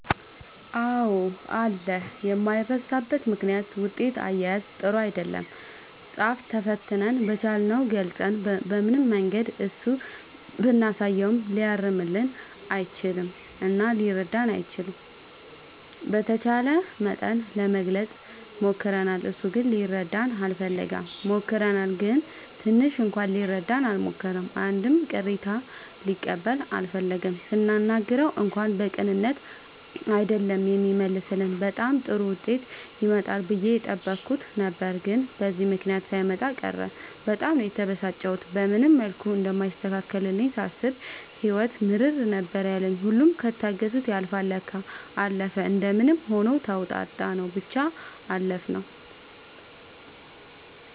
አዎ አለ የማይረሳበት ምክንያት ውጤት አያያዝ ጥሩ አይደለም ፃፍ ተፈትነን በቻልነው ገልፀን በምንም መንገድ እሱ ብናሳየውም ሊያርምልን አልቻለም እና ሊረዳንም አልቻለም። በተቻለ መጠን ለመግለፅ ሞክርናል እሱ ግን ሊረዳን አልፈለገም። ሞክረናል ግን ትንሽ እንኳን ሊረዳን አልሞከረም አንድም ቅሬታ ሊቀበል አልፈለገም ስናናግረው እንኳን በቅንነት አይደለም የሚመልስልን በጣም ጥሩ ዉጤት ይመጣል ብዬ የጠበኩት ነበር ግን በዚህ ምክንያት ሳይመጣ ቀረ በጣም ነው የተበሳጨሁት። በምንም መልኩ እንደማይስተካከልልኝ ሳስብ ህይወት ምርር ነበር ያለኝ ሁሉም ከታገሱት ያልፍል ለካ። አለፈ እንደምንም ሆኖ ተዉጣንው ብቻ አለፍነው።